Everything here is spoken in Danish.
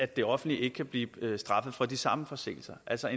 det offentlige ikke kan blive straffet for de samme forseelser altså